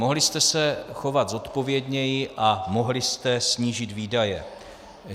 Mohli jste se chovat zodpovědněji a mohli jste snížit výdaje.